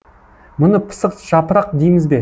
мұны пысық жапырақ дейміз бе